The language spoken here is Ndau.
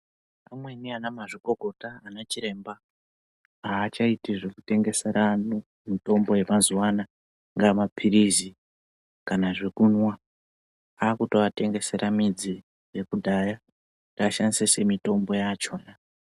Pamweni ana mazvikokota ana chiremba haachaiti zvekutengesera antu mitombo yamazuva ano angava mapirizi kana zvekumwa akutoatengesera midzi yekudhaya kuti ashandise semitombo yachona .